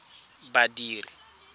badiri